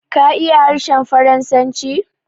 Ka iya harshen Faransanci?